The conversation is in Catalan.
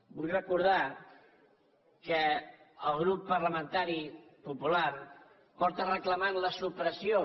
vull recordar que el grup parlamentari popular porta reclamant la supressió